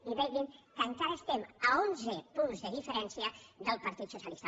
i vegin que encara estem a onze punts de diferència del partit socialista